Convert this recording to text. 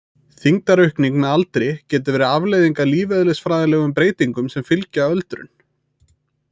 Þyngdaraukning með aldri getur verið afleiðing af lífeðlisfræðilegum breytingum sem fylgja öldrun.